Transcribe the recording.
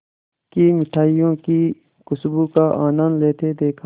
की मिठाइयों की खूशबू का आनंद लेते देखा